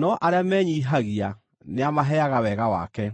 no arĩa menyiihagia nĩamaheaga wega wake.”